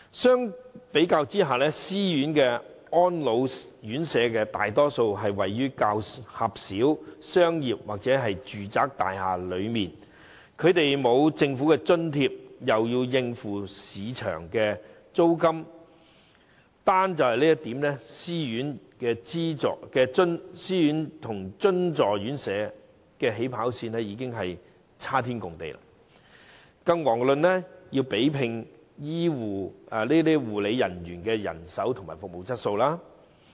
相對而言，私營院舍大多位於較狹小的商業或住宅大廈，既沒有政府津貼，又要應付市值租金，單從這點來看，私營院舍與津助院舍的"起跑線"已是差天共地，遑論要比拼護理員人手及服務質素。